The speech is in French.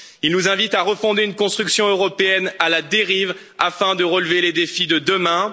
Il nous invite à refonder une construction européenne à la dérive afin de relever les défis de demain.